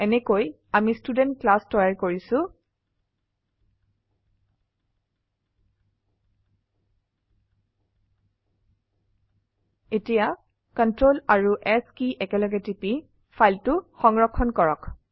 এনেকৈ আমি student class তৈয়াৰ কৰিছো এতিয়া Ctrl আৰুS কি একেলগেটিপি ফাইলটো সংৰক্ষণ কৰো